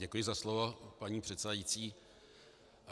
Děkuji za slovo, paní předsedající.